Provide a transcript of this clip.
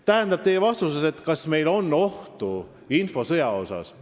Tähendab, kas meil on infosõja oht?